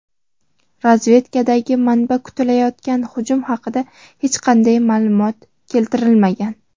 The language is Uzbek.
Razvedkadagi manba kutilayotgan hujum haqida hech qanday ma’lumot keltirmagan.